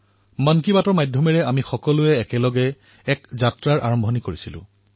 মন কী বাতৰ জৰিয়তে আমি সকলোৱে মিলি এক যাত্ৰাৰ আৰম্ভ কৰিছিলো